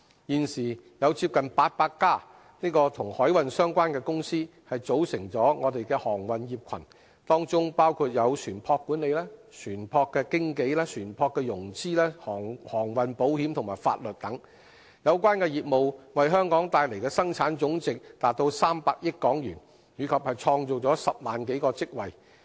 現時有接近800間與海運相關的公司組成航運業群，當中包括船舶管理、船舶經紀、船舶融資、航運保險及法律等，有關業務為香港帶來的生產總值達300億港元，以及創造10萬多個職位。